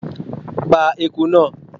Pa ieku náà!